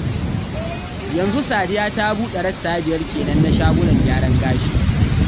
Yanzu Sadiya ta buɗe rassa biyar kenan na shagunan gyaran gashi